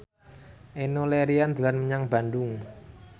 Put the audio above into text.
Enno Lerian dolan menyang Bandung